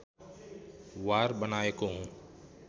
वार बनाएको हुँ